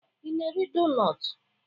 Ị na-eri donutu?